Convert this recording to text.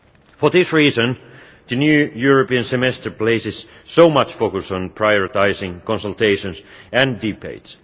For this reason, the new European Semester places so much focus on prioritising consultations and debates.